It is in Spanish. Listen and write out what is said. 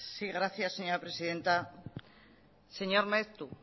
sí gracias señora presidenta señor maeztu